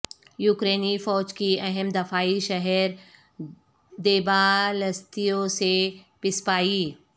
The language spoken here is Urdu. یوکرینی فوج کی اہم دفاعی شہر دیبالستیو سے پسپائی